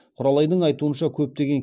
құралайдың айтуынша көптеген